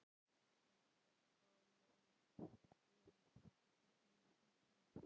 En það má hún ekki segja stúlkunni.